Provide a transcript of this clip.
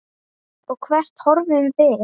Og hvert horfum við?